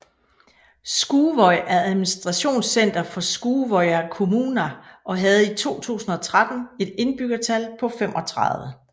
Skúvoy er administrationscenter for Skúvoyar kommuna og havde i 2013 et indbyggertal på 35